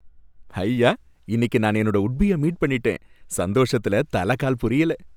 ஹய்யா! இன்னிக்கு நான் என்னோட உட்பீய மீட் பண்ணிட்டேன், சந்தோஷத்துல தல கால் புரியல.